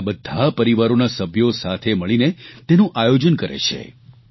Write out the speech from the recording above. ગલીના બધા પરિવારોના સભ્યો સાથે મળીને તેનું આયોજન કરે છે